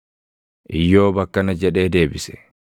Iyyoob akkana jedhee deebise: